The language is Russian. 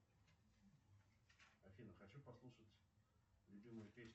афина хочу послушать любимую песню